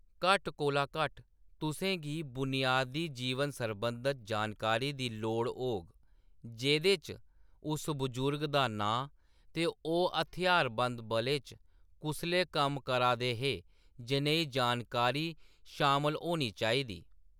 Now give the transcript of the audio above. घट्ट कोला घट्ट, तुसें गी बुनियादी जीवन सरबंधत जानकारी दी लोड़ होग, जेह्‌‌‌दे च उस बजुर्ग दा नांऽ ते ओह्‌‌ हथ्यारबंद बलें च कुसलै कम्म करा दे हे जनेही जानकारी शामल होनी चाहिदा।